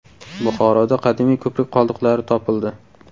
Buxoroda qadimiy ko‘prik qoldiqlari topildi.